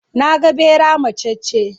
Na ga ɓera macacce.